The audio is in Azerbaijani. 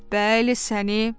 Bəli, səni.